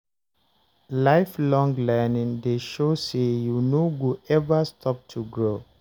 Lifelong learning dey show say you no go ever stop to grow.